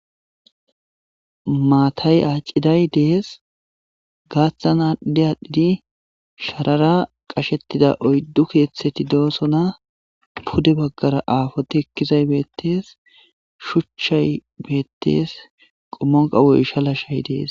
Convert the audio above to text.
maatay aacciday dees gaaththan aadhdi aadhdhidi sharara qashettida oyddu keeththeti doosona pude baggara aafote ekkizay beettes shuchchay beettes qommonqawoyshalashay dees